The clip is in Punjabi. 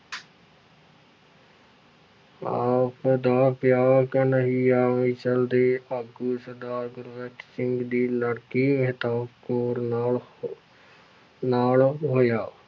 ਆਪ ਦਾ ਵਿਆਹ ਘਨੱਇਆ ਮਿਸ਼ਲ ਦੇ ਭੰਗੀ ਸਰਦਾਰ ਗੁਰਬਖ਼ਸ ਸਿੰਘ ਦੀ ਲੜਕੀ ਮਹਿਤਾਬ ਕੌਰ ਨਾਲ ਨਾਲ ਹੋਇਆ।